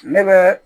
Ne bɛ